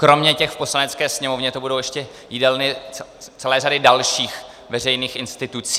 Kromě těch v Poslanecké sněmovně to budou ještě jídelny celé řady dalších veřejných institucí.